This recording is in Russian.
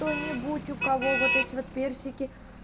кто нибудь у кого вот эти вот персики